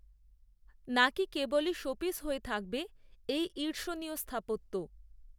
না কি কেবলই শোপিস হয়ে থাকবে এই ঈর্ষণীয় স্থাপত্য